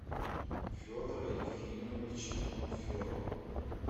федора ефимовича панферова